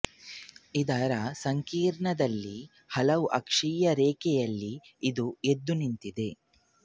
ಇದರ ಸಂಕೀರ್ಣದಲ್ಲಿ ಹಲವು ಅಕ್ಷೀಯ ರೇಖೆಯಲ್ಲಿ ಇದು ಎದ್ದು ನಿಂತಿದೆ